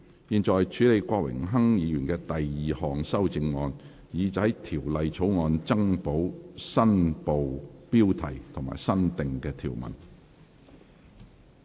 現在處理郭榮鏗議員的第二項修正案，以在條例草案增補新部標題及新訂條文。